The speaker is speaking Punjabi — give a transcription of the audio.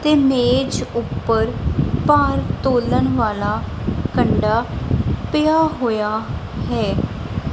ਤੇ ਮੇਜ ਊਪਰ ਭਾਰ ਤੋਲਣ ਵਾਲਾ ਕੰਡਾ ਪਿਆ ਹੋਇਆ ਹੈ।